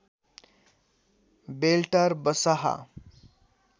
बेल्टार बसाहा